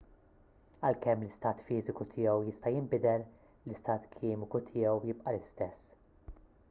għalkemm l-istat fiżiku tiegħu jista' jinbidel l-istat kimiku tiegħu jibqa' l-istess